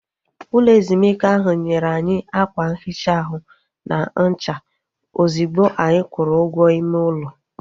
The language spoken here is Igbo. Ụlọ ezumike ahu nyere anyị ákwà nhicha ahụ na ncha ozigbo anyị kwụrụ ụgwọ ime ụlọ